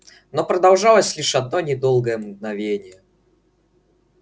но продолжалось лишь одно недолгое мгновение